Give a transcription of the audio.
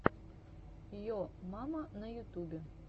йо мама на ютубе